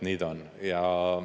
Nii ta on.